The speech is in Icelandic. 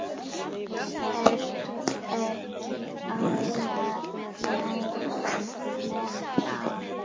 Ertu ekki ánægð með það?